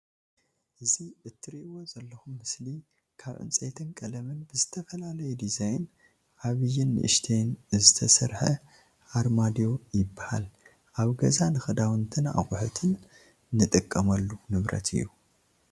እዚ ትርኢዎ ዘለኩም ምስሊ ካብ ዕንፀይቲን ቀለምን ብዝተፈላለዩ ድዛይን ዓብይን ንእሽተይን ዝተሰረሓ ኣርማድዮይባሃል። ኣብ ገዛ ንክዳውንቲን ንኣቁሑትን ንጥቀመሉ ንብረት እዩ።